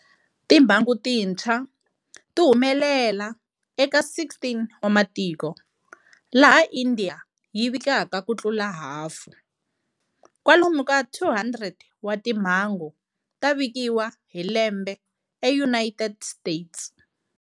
Timhangu tintshwa ti humelela eka 16 wa matiko, laha India yi vikaka ku tlula hafu. Kwalomu ka 200 wa timhangu ta vikiwa hi lembe eUnited States.